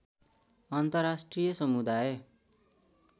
अन्तर्राष्ट्रिय समुदाय